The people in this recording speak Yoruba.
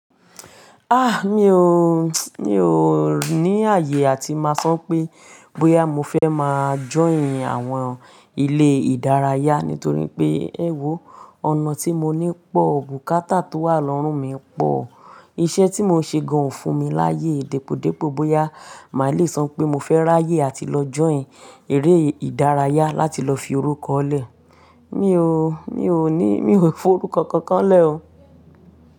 Ah! Mi ò, mi ò ni ààyè àti máa sọ pé, bóyá mo fẹ́ máa join àwọn ilé ìdárayá, nítorí pé, ẹ wò, ọ̀nà tí mo ní pọ̀, bùkátà tó wà lọ́rùn mi pọ̀. Iṣẹ́ tí mo ń ṣe gan o fún mi láàyè, depòdepò bóyá màá le sọ pé mo fẹ́ ráyè àti lọ join eré ìdárayá láti lọ fi orúkọ lẹ. Mi ò, mi ò ní, mi ò fi orúkọ kankan lẹ̀ o.